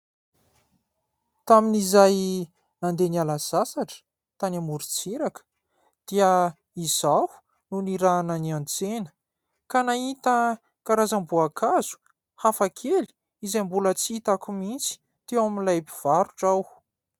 Tamin'izay nandeha niala sasatra tany amoron-tsiraka dia izaho no nirahana niantsena ka nahita karazam-boankazo hafakely izay mbola tsy hitako mihitsy teo amin'ilay mpivarotra aho.